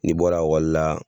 N'i bɔra ekɔli la